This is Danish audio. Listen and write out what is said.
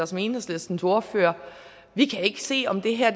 som enhedslistens ordfører vi kan ikke se om det her